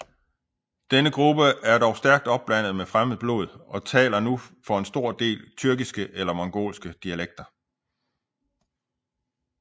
Denne gruppe er dog stærkt opblandet med fremmed blod og taler nu for en stor del tyrkiske eller mongolske dialekter